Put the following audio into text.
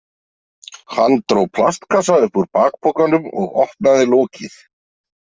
Hann dró plastkassa upp úr bakpokanum og opnaði lokið.